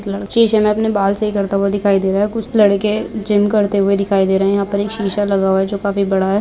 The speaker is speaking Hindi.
शीशे में अपने बाल सही करता हुआ दिखाई दे रहा है कुछ लड़के जिम करते हुऐ दिखाई दे रहे है यहां पर एक शीशा लगा हुआ है जो काफी बड़ा है।